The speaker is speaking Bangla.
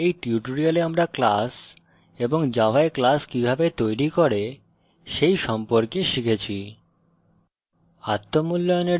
সুতরাং এই tutorial আমরা class এবং জাভায় class কিভাবে তৈরি করে সেই সম্পর্কে শিখেছি